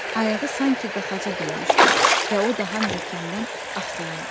Ayağı sanki qaxaca dönmüşdü və o daha möhkəmdən axsayırdı.